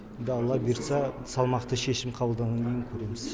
енді алла бұйыртса салмақты шешім қабылданғаннан кейін көреміз